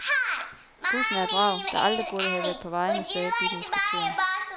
Bussen er et vrag, der aldrig burde have været på vejene, sagde bilinspektøren.